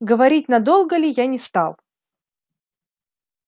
говорить надолго ли я не стал